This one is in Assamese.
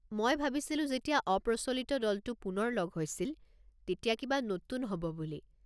মই ভাবিছিলোঁ যেতিয়া অপ্ৰচলিত দলটো পুনৰ লগ হৈছিল তেতিয়া কিবা নতুন হ'ব বুলি।